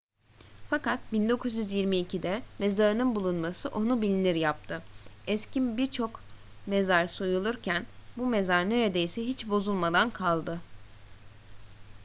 fakat 1922'de mezarının bulunması onu bilinir yaptı eski birçok mezar soyulurken bu mezar neredeyse hiç bozulmadan kaldı